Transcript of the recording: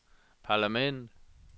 parlament